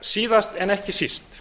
síðast en ekki síst